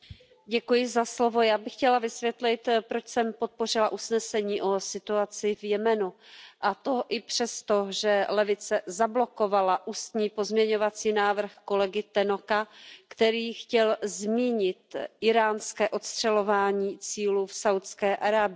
Paní předsedající, já bych chtěla vysvětlit, proč jsem podpořila usnesení o situaci v Jemenu, a to i přesto, že levice zablokovala ústní pozměňovací návrh kolegy Tannocka, který chtěl zmínit íránské ostřelování cílů v Saúdské Arábii.